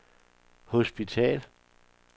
hospital